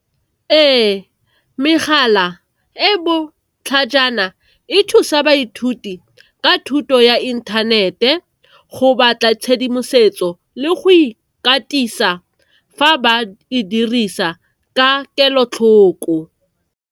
Ee, megala e botlhajana e thusa baithuti ka thuto ya inthanete, go batla tshedimosetso, le go ikatisa fa ba e dirisa ka kelotlhoko.